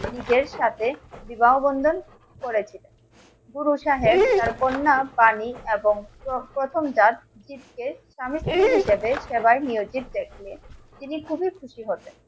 নিজের সাথে বিবাহ বন্ধন করেছে. গুরু সাহেব তার কন্যা বাণী এবং প্রথম দাস স্বামী স্ত্রী হিসেবে সেবাই নিয়োজিত হয়েছে তিনি খুবই খুশি হবেন